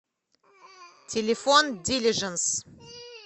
телефон дилижанс